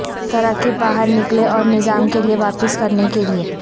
تراکیب باہر نکلیں اور نظام کے لئے واپس کرنے کے لئے